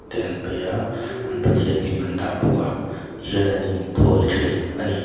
te an paih a an pathian lim an dah bawk a tihian an inthawi ṭhin a ni.